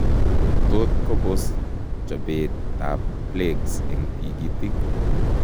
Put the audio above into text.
Tot kobos chobeet ab plaques eng tigitik